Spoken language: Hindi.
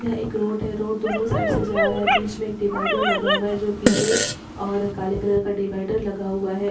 यह एक रोड है रोड दोनों साइड से जा रहा है बिच में एक डिवाइडर लगा हुआ है जो पिले और काले कलर का डिवाइडर लगा हुआ है।